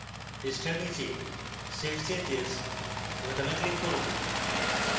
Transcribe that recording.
পৃষ্ঠার নীচে save changes বোতামে click করুন